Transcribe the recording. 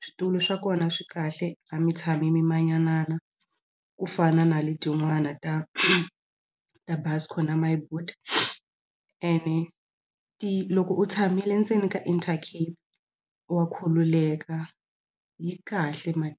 switulu swa kona swi kahle a mi tshami mi manyanana ku fana na le tin'wana ta ta Buscor na My Boet ene loko u tshamile endzeni ka intercape wa khululeka yi kahle mani.